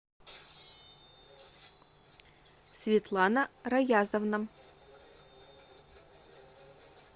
светлана раязовна